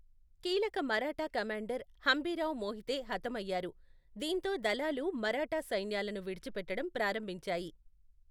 కీలక మరాఠా కమాండర్ హంబీర్రావ్ మోహితే హతమయ్యారు, దీంతో దళాలు మరాఠా సైన్యాలను విడిచిపెట్టడం ప్రారంభించాయి.